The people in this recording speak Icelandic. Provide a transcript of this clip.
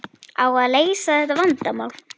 Á að leysa þetta vandamál?